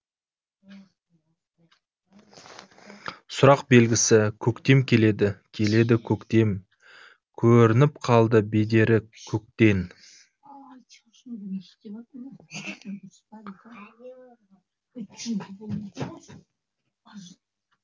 сұрақ белгісі көктем келеді келеді көктем көрініп қалды бедері көктен